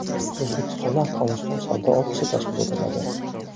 O‘zbekistonda Afg‘oniston savdo ofisi tashkil etiladi.